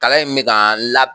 Kala in me k'an lab